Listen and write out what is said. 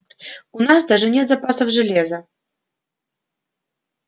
у нас даже нет запасов железа